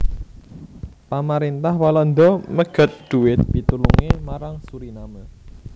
Pamaréntah Walanda megat dhuwit pitulungé marang Suriname